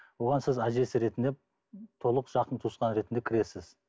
оған сіз әжесі ретінде толық жақын туысқан ретінде кіресіз